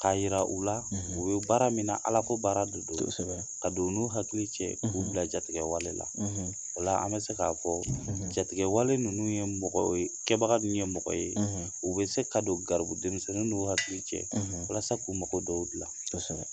k'a yira u la; ; U bɛ baara min na ala ko baara de don; Kosɛbɛ; Ka don n'u hakili cɛ; ; K'u bila jatigɛwalela wala; ; Ola an bɛ se k'a fɔ; ; Jatigɛwale ninnu ye Kɛ baga ninnu ye mɔgɔ ye; ; U bɛ se ka don garibu denmisɛnnin n'u hakili cɛ; ; Walasa k'u mago dɔw dilan; Kosɛbɛ.